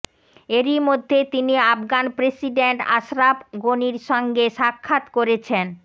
এরইমধ্যে তিনি আফগান প্রেসিডেন্ট আশরাফ গণির সঙ্গে সাক্ষাৎ করেছেন